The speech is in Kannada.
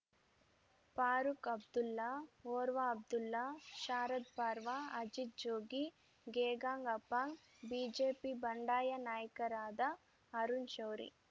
ಫಾರೂಕ್‌ ಅಬ್ದುಲ್ಲಾ ಒರ್ವಾ ಅಬ್ದುಲ್ಲಾ ಶಾರದ್‌ ಪರ್ವಾ ಅಜಿತ್‌ ಜೋಗಿ ಗೆಗಾಂಗ್‌ ಅಪಾಂಗ್‌ ಬಿಜೆಪಿ ಬಂಡಾಯ ನಾಯಕರಾದ ಅರುಣ್‌ ಶೌರಿ